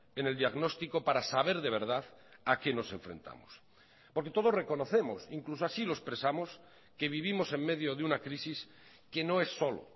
en el diagnóstico para saber de verdad a qué nos enfrentamos porque todos reconocemos incluso así lo expresamos que vivimos en medio de una crisis que no es solo